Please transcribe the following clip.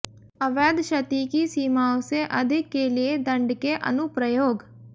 अवैध क्षति की सीमाओं से अधिक के लिए दंड के अनुप्रयोग